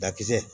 Dakisɛ